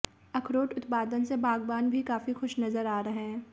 अखरोट उत्पादन से बागबान भी काफी खुश नजर आ रहे हैं